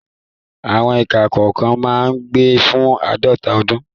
Àwọn ikán kọ̀ọ̀kan máa ń gbé fún àádọ́ta ọdún.